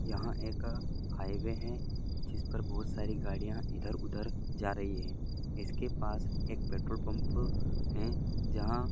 यहाँ एक हाईवे है जिस पर बहुत सारी गाड़ियां इधर उधर जा रही है इसके पास एक पेट्रोल पंप है जहा --